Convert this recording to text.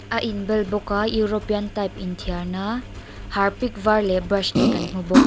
a in bel bawk a european type in thiar na harpic var leh brush te kan hmu bawk.